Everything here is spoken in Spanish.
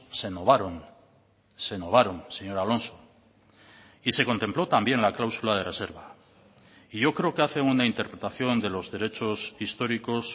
se novaron se novaron señor alonso y se contempló también la cláusula de reserva y yo creo que hacen una interpretación de los derechos históricos